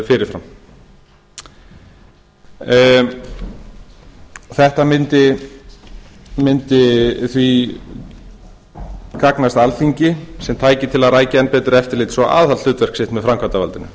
fyrirfram þetta myndi því gagnast alþingi sem tæki til að rækja enn betur eftirlits og aðalhlutverk sitt með framkvæmdarvaldinu